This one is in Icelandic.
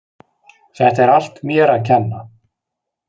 Þetta er allt mér að kenna.